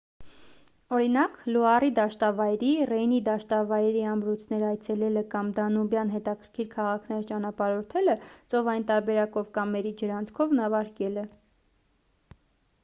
օրինակ լուարի դաշտավայրի ռեյնի դաշտավայրի ամրոցներ այցելելը կամ դանուբյան հետաքրքիր քաղաքներ ճանապարհորդելը ծովային տարբերակով կամ էրի ջրանցքով նավարկելը